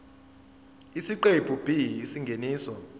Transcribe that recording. isiqephu b isingeniso